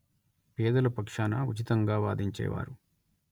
పేదల పక్షాన ఉచితంగా వాదించేవారు